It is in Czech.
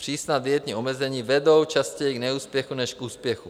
Přísná dietní omezení vedou častěji k neúspěchu než k úspěchu.